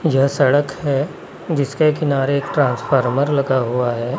यह सड़क है जिसके किनारे एक ट्रांसफॉर्मर लगा हुआ है।